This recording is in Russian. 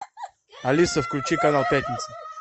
алиса включи канал пятница